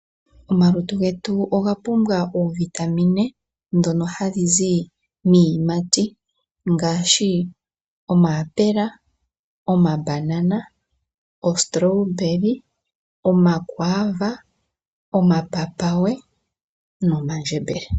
Omalutu getu oga pumbwa oovitamine dhono hadhi zi miiyimati ngaashi omayapula, omambanana, oostrawberry, omakwaava, omapapaye nomandjembele.